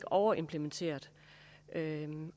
overimplementerede